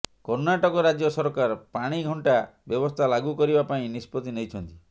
କର୍ଣ୍ଣାଟକ ରାଜ୍ୟ ସରକାର ପାଣିଘଣ୍ଟା ବ୍ୟବସ୍ଥା ଲାଗୁ କରିବା ପାଇଁ ନିଷ୍ପତ୍ତି ନେଇଛନ୍ତି